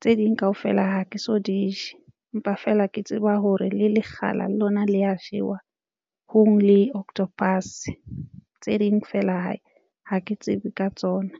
tse ding kaofela ha ke so di je. Empa feela ke tseba hore le lekgala le lona le ya jewa hong le octopus tse ding feela hae ha ke tsebe ka tsona.